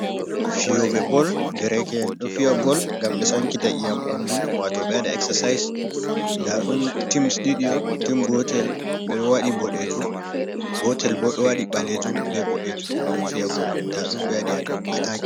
Fiyoɓe bol Dereke'en ɗo fi'a bol ngam ɓe Sankita iyam ɓandu wato ɓe ɗo Eksasayis. Nda ɗum tims ɗiɗi'on, tim Gotel ɓe ɗo waɗi boɗejum Gotel bo ɗo waɗi Ɓalejum bo Ɓoɗejum ɓeɗo Fi'a bol. Nda ɗum ɓe waɗi atakin.